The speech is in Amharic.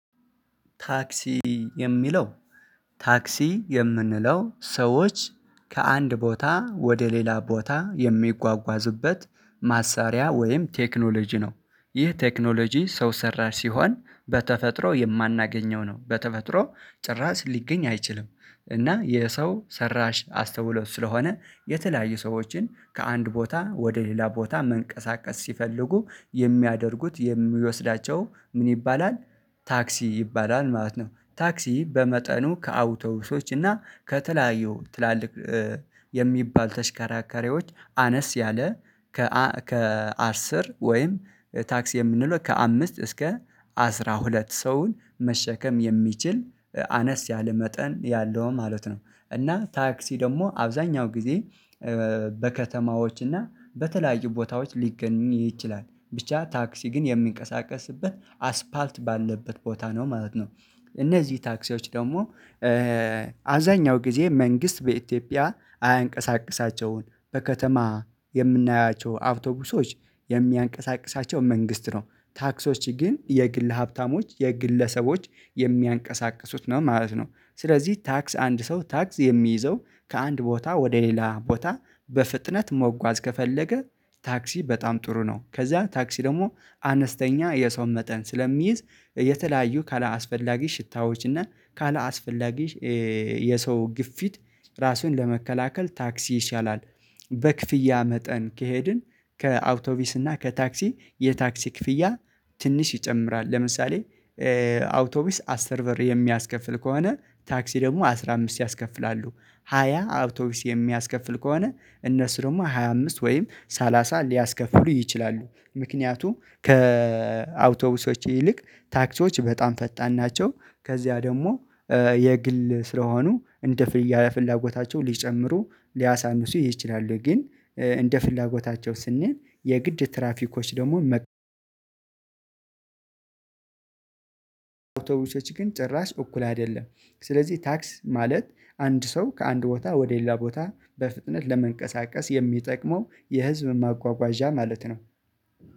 ታክሲ የሚለ፣ ታክሲ የምንለው ሰዎች ከአንድ ቦታ ወደ ሌላ ቦታ የሚጓጓዝበት መሳሪያ ወይም ቴክኖሎጂ ነው። ይህ ቴክኖሎጂ ሰው ሰራሽ ሲሆን፣ በተፈጥሮ የማናገኘው ነው። በተፈጥሮ ጭራሽ ሊገኝ አይችልም እና የሰው ሰራሽ አስተውሎት ስለሆነ፤ የተለያዩ ሰዎችን ከአንድ ቦታ ወደ ሌላ ቦታ መንቀሳቀስ ሲፈልጉ፣ የሚያደርጉት የሚወስዳቸው ምን ይባላል? ታክሲ ይባላል ማለት ነው። ታክሲ በመጠኑ ከአውቶብሶች እና ከተለያዩ ትላልቅ የሚባል ተሽከራከሪዎች አነስ ያለ፣ ከ ከ አስር ወይም ታክሲ የምንለው ከአምስት እስከ አስራ ሁለት ሰውን መሸከም የሚችል፣ አነስ ያለ መጠን ያለው ማለት ነው፤ እና ታክሲ ደግሞ አብዛኛውን ጊዜ በከተማዎች እና በተለያዩ ቦታዎች ሊገኝ ይችላል፤ ብቻ ታክሲ ግን የሚንቀሳቀስበት አስፓልት ባለበት ቦታ ነው ማለት ነው። እነዚህ ታክሲዎች ደግሞ አብዛኛው ጊዜ መንግስት በኢትዮጵያ አያንቀሳቅሳቸውም፤ በከተማ የምናያቸው አብቶቢሶች የሚያንቀሳቅሳቸው መንግስት ነው፤ ታክሲዎች ግን የግል ሀብታሞች፣ የግለሰቦች የሚያንቀሳቅሱት ነው ማለት ነው ስለዚህ ታክስ አንድ ሰው ታክስ የሚይዘው ከአንድ ቦታ ወደ ሌላ ቦታ በፍጥነት መጓዝ ከፈለገ ታክሲ በጣም ጥሩ ነው፤ ከዚያ ታክሲ ደግሞ አነስተኛ የሰው መጠን ስለሚይዝ፣ ከተለያዩ አላስፈላጊ እና ካላስፈላጊ የሰው ግፊት ራስህን ለመከላከል ታክሲ ይሻላል፤ በክፍያ መጠን ከሄድን ከአውቶቡስ እና ከታክሲ፣ የታክሲ ክፍያ ትንሽ ይጨምራል፤ ለምሳሌ አውቶቡስ አስር ብር የሚያስከፍል ከሆነ፣ ታክሲ ደግሞ አስራ አምስት ያስከፍላል፤ አውቶቡስ ሃያ የሚያስከፍል ከሆነ፣ እነሱ ደግሞ ሃያ አምስት ወይም ሰላሳ ሊያስከፍሉ ይችላሉ፤ ምክንያቱም ከአውቶቡሶች ይልቅ ታክሲዎች በጣም ፈጣን ናቸው፤ ከዚያ ደግሞ የግል ስለሆኑ፣ እንደ ፍላጎታቸው ሊጨምሩ ሊያሳንሱ ይችላሉ፤ ግን እንደ ፍላጎታቸው ስንል፣ የግድ ትራፊኮች ደግሞ አውቶቢሶች ግን ጭራሽ እኩል አይደሉም፤ ስለዚህ ታክሲ ማለት አንድ ሰው ከአንድ ቦታ ወደ ሌላ ቦታ በፍጥነት ለመንቀሳቀስ የሚጠቅመው የህዝብ ማጓጓዣ ማለት ነው።